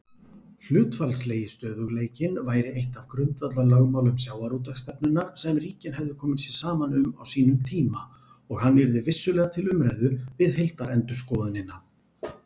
Hlutfallslegi stöðugleikinn væri eitt af grundvallarlögmálum sjávarútvegsstefnunnar sem ríkin hefðu komið sér saman um á sínum tíma og hann yrði vissulega til umræðu við heildarendurskoðunina.